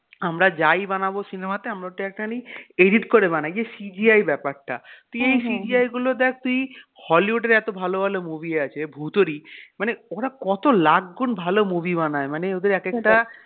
আমরা যাই বানাব cinema তে আমরা ওটা একটা খালি edit করে বানাই এই যে CGI ব্যাপারটা তুই এই CGI গুলো দেখ তুই hollywood এর এত ভালো ভালো movie আছে ভুতেরই মানে ওরা কত লাখগুন ভালো movie বানায় মানে ওদের এক একটা